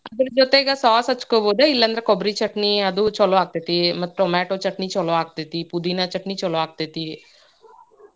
lough ಅದರ ಜೊತೆಗ sauce ಹಚ್ಕೋಬೋದು, ಇಲ್ಲಾಂದ್ರ ಕೊಬ್ರಿ ಚಟ್ನಿ ಅದೂ ಛಲೋ ಅಗ್ತೇತಿ, ಮತ್ tomato ಚಟ್ನಿ ಛಲೋ ಆಗ್ತೇತಿ, ಪುದೀನಾ ಚಟ್ನಿ ಛಲೋ ಆಗ್ತೇತಿ।